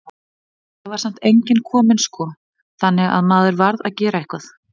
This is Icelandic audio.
En það var samt enginn kominn sko, þannig að maður varð að gera eitthvað.